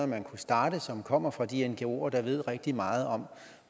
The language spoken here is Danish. man kunne starte som kommer fra de ngoer der ved rigtig meget om